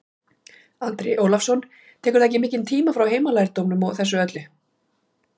Andri Ólafsson: Tekur það ekki mikinn tíma frá heimalærdómnum og þessu öllu?